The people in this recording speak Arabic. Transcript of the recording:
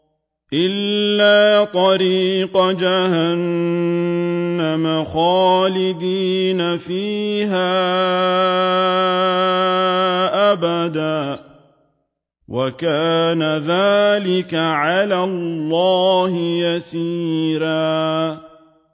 إِلَّا طَرِيقَ جَهَنَّمَ خَالِدِينَ فِيهَا أَبَدًا ۚ وَكَانَ ذَٰلِكَ عَلَى اللَّهِ يَسِيرًا